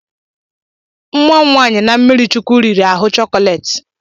Nwa m nwanyị na mmirichukwu riri ahụ chocolate